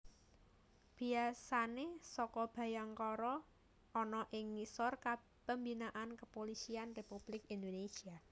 Biasane Saka Bhayangkara ana ing ngisor pembinaan Kepulisian Republik Indonesia